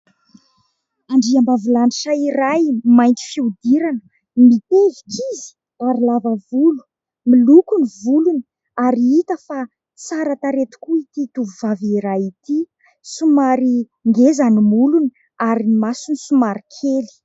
Andriambavilanitra iray mainty fihodirana. Mitevika izy ary lava volo, miloko ny volony, ary hita fa tsara tarehy tokoa ity tovovavy iray ity. Somary ngeza ny molony ary ny masony somary kely.